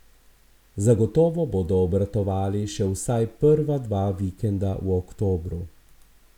Zagotovo bodo obratovali še vsaj prva dva vikenda v oktobru.